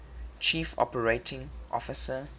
chief operating officer